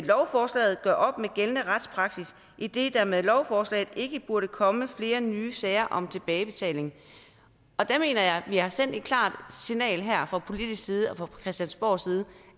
lovforslaget gør op med gældende retspraksis idet der med lovforslaget ikke burde komme flere nye sager om tilbagebetaling der mener jeg at vi har sendt et klart signal her fra politisk side og fra christiansborgs side